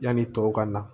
Yanni tɔw ka na